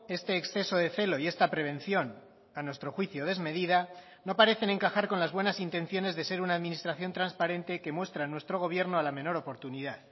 este exceso de celo y esta prevención a nuestro juicio desmedida no parecen encajar con las buenas intenciones de ser una administración transparente que muestra nuestro gobierno a la menor oportunidad